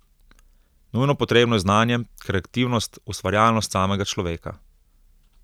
Nujno potrebno je znanje, kreativnost, ustvarjalnost samega človeka.